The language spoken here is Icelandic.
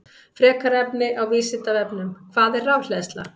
Frekara lesefni á Vísindavefnum: Hvað er rafhleðsla?